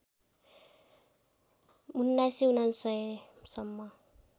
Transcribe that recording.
१९९९ सम्म